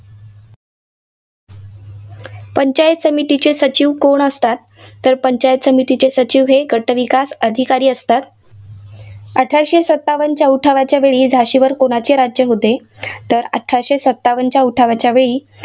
पंचायत समितीचे सचिव कोण असतात? तर पंचायत समितीचे सचिव हे गटविकास अधिकारी असतात. अठराशे सत्तावनच्या उठावावेळी झाशीवर कोणाचे राज्य होते? तर अठराशे सत्तावनच्या उठावाच्या वेळी